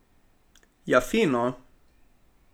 Ja, fino!